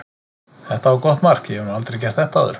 Þetta var gott mark, ég hef nú aldrei gert þetta áður.